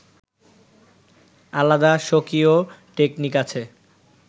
আলাদা স্বকীয় টেকনিক আছে